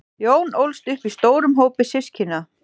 jón ólst upp í stórum hópi systkina